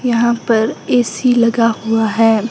यहां पर ए_सी लगा हुआ है।